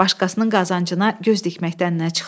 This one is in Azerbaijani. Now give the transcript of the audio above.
Başqasının qazancına göz dikməkdən nə çıxar?